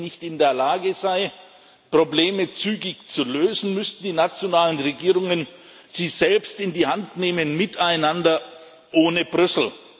Wenn sie nicht in der Lage sei, Probleme zügig zu lösen, müssten die nationalen Regierungen sie selbst in die Hand nehmen miteinander ohne Brüssel.